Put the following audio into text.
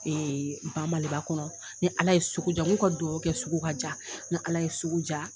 Ba Maliba kɔnɔ, ni Ala ye sugu ja, n k'u ka duwɔwu kɛ, sugu ka ja, ni Ala ye ja